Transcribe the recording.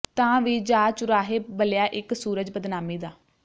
ਤਾਂ ਵੀ ਜਾ ਚੁਰਾਹੇ ਬਲਿਆ ਇਕ ਸੂਰਜ ਬਦਨਾਮੀ ਦਾ